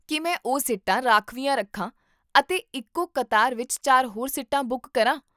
ਕੀ ਮੈਂ ਉਹ ਸੀਟਾਂ ਰਾਖਵੀਆਂ ਰੱਖਾਂ ਅਤੇ ਇੱਕੋ ਕਤਾਰ ਵਿੱਚ ਚਾਰ ਹੋਰ ਸੀਟਾਂ ਬੁੱਕ ਕਰਾਂ?